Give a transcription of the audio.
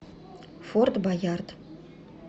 форт боярд